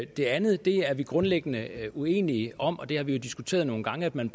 det andet er vi grundlæggende uenige om og vi har jo diskuteret nogle gange at man